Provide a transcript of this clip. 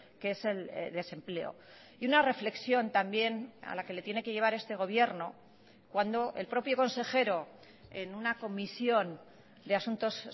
que es el desempleo y una reflexión también a la que le tiene que llevar este gobierno cuando el propio consejero en una comisión de asuntos